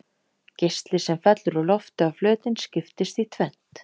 Geisli sem fellur úr lofti á flötinn skiptist í tvennt.